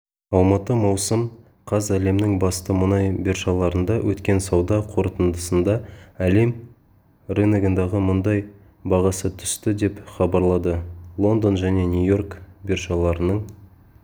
алматы маусым қаз әлемнің басты мұнай биржаларында өткен сауда қорытындысында әлем рыногындағы мұнай бағасы түсті деп хабарлады лондон және нью-йорк биржаларының